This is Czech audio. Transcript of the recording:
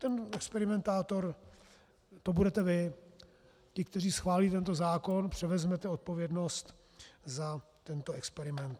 Ten experimentátor, to budete vy, ti, kteří schválíte tento zákon, převezmete odpovědnost za tento experiment.